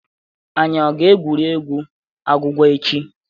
Anyị ọ ga-egwurie egwu agwụgwa echi?